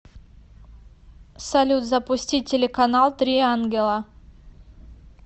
салют запустить телеканал три ангела